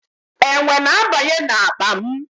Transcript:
Enwe na-abanye n'akpa m.